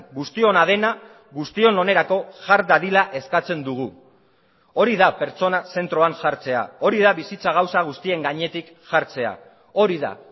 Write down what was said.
guztiona dena guztion onerako jar dadila eskatzen dugu hori da pertsona zentroan jartzea hori da bizitza gauza guztien gainetik jartzea hori da